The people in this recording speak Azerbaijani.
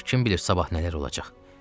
Ancaq kim bilir sabah nələr olacaq?